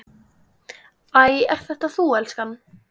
Æ, ert þetta þú elskan?